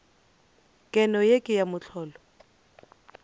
keno ye ke ya mohlolo